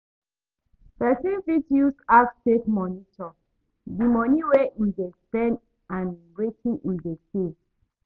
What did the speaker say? Person fit use apps take monitor di money wey im dey spend and wetin im dey save